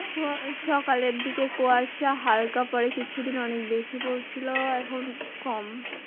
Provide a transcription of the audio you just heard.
সকালের দিকে কুয়াশা হালকা পড়ে কিছুদিন অনেক বেশি পড়ছিলো এখন কম।